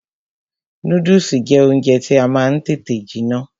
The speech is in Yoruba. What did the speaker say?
Núdùsì jẹ́ oúnjẹ tí ó máa ń tètè jiná